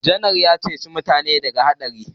Janar din ya ceci mutanensa daga haɗari